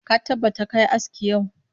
Ka tabbata ka yi aski yau!